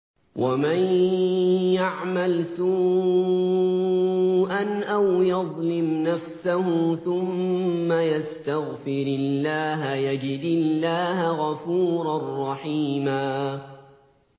وَمَن يَعْمَلْ سُوءًا أَوْ يَظْلِمْ نَفْسَهُ ثُمَّ يَسْتَغْفِرِ اللَّهَ يَجِدِ اللَّهَ غَفُورًا رَّحِيمًا